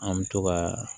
An bɛ to kaa